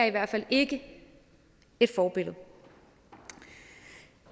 i hvert fald ikke er et forbillede